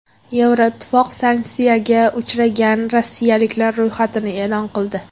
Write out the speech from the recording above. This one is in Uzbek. Yevroittifoq sanksiyaga uchragan rossiyaliklar ro‘yxatini e’lon qildi.